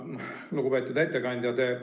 Lugupeetud ettekandja!